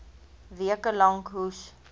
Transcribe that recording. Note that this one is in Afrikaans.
weke lank hoes